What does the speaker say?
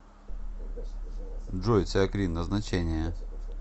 джой циакрин назначение